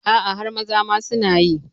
A'a har maza ma sunayi